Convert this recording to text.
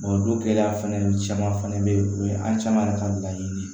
don gɛlɛya fɛnɛ caman fana be yen o ye an caman yɛrɛ ka laɲini ye